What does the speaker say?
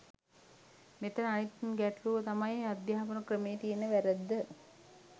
මෙතන අනිත් ගැටළුව තමයි අධ්‍යාපන ක්‍රමයේ තියෙන වැරැද්ද.